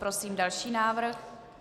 Prosím další návrh.